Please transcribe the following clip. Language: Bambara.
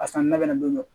A sanni na ka na don